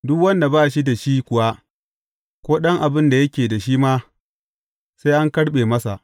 Duk wanda ba shi da shi kuwa, ko ɗan abin da yake da shi ma, sai an karɓe masa.